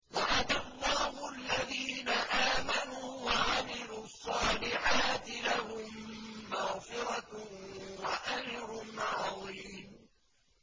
وَعَدَ اللَّهُ الَّذِينَ آمَنُوا وَعَمِلُوا الصَّالِحَاتِ ۙ لَهُم مَّغْفِرَةٌ وَأَجْرٌ عَظِيمٌ